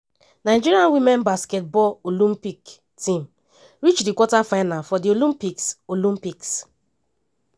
nigeria women basketball olympic team reach di quarter final of di olympics. olympics.